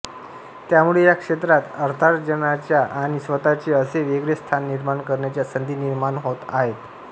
त्यामुळे या क्षेत्रात अर्थार्जनाच्या आणि स्वतःचे असे वेगळे स्थान निर्माण करण्याच्या संधी निर्माण होत आहेत